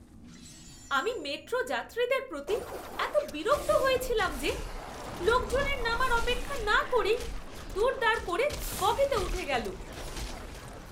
আমি মেট্রো যাত্রীদের প্রতি এতো বিরক্ত হয়েছিলাম যে, লোকজনের নামার অপেক্ষা না করেই দুড়দাড় করে বগিতে উঠে গেলো!